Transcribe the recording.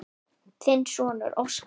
Þinn sonur, Óskar.